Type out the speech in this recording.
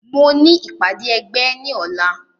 Mo ní ìpàdé ẹgbẹ́ ní ọ̀la